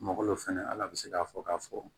Malo fɛnɛ ala bɛ se k'a fɔ k'a fɔ